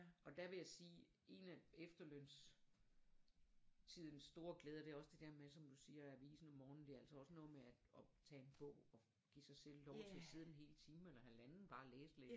Og der vil jeg sige en af efterløns tidens store glæder det er også det der med som du siger avisen om morgenen det er altså også noget med at og tage en bog og give sig selv lov til at sidde en hel time eller halvanden bare og læse lidt